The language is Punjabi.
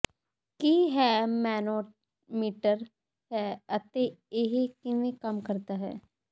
ਕੀ ਹੈ ਮੈਨੋਮੀਟਰ ਹੈ ਅਤੇ ਇਹ ਕਿਵੇਂ ਕੰਮ ਕਰਦਾ ਹੈ